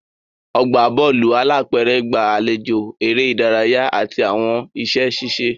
Ọgbà Bọ́ọ̀lù alápẹ̀rẹ̀ gba àlejò eré ìdárayá àti àwọn iṣẹ́ ṣíṣe